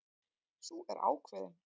Sú er ákveðin!